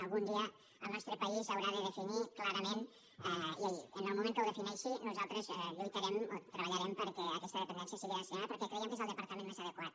algun dia el nostre país ho haurà de definir clarament i en el moment que ho defineixi nosaltres lluitarem o treballarem perquè aquesta dependència sigui d’ensenyament perquè creiem que és el departament més adequat